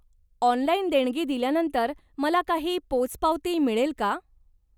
Online देणगी दिल्यानंतर मला काही पोचपावती मिळेल का?